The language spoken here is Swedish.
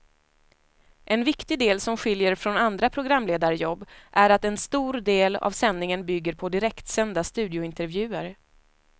En viktig del som skiljer från andra programledarjobb är att en stor del av sändningen bygger på direktsända studiointervjuer.